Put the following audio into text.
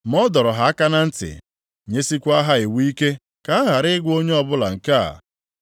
Ma ọ dọrọ ha aka na ntị, nyesiekwa ha iwu ike ka ha ghara ịgwa onye ọbụla nke a,